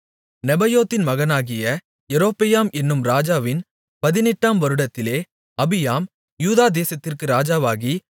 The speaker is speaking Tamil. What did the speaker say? நேபாத்தின் மகனாகிய யெரொபெயாம் என்னும் ராஜாவின் 18 ஆம் வருடத்திலே அபியாம் யூதா தேசத்திற்கு ராஜாவாகி